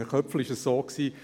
Bei Herrn Köpfli war es so: